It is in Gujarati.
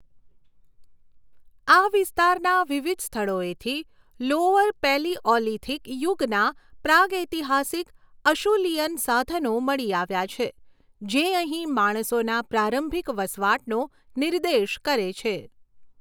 આ વિસ્તારના વિવિધ સ્થળોએથી લોઅર પેલિઓલિથિક યુગના પ્રાગૈતિહાસિક અશુલિયન સાધનો મળી આવ્યાં છે, જે અહીં માણસોના પ્રારંભિક વસવાટનો નિર્દેશ કરે છે.